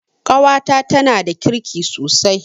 Ƙawata tanada kirki sosai